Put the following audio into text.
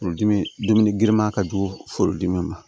Furudimi dumuni girinman ka jugu forodimi ma